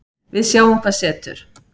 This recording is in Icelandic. Við sjáum hvað setur